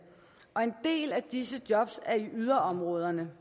og en del af disse jobs er i yderområderne